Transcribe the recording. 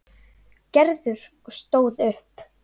Gerður og stóð upp.